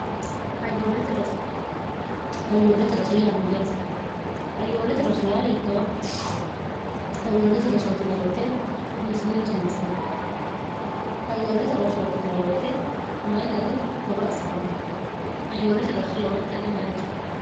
hayyoolete roso yaamayyaat ayoolete rosoya hit hayoolete rosooti neewete hiissine rosiinsanni hayyoolate rosooti nwt mayi gari horo afi'ranno hayyoolote roso lowontanni dancha